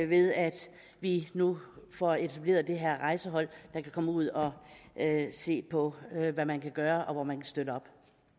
ved at vi nu får etableret det her rejsehold der kan komme ud og se på hvad man kan gøre og hvor man kan støtte op